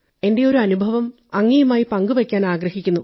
എന്റെ ഒരു അനുഭവം അങ്ങയുമായി പങ്കുവയ്ക്കാനാഗ്രഹിക്കുന്നു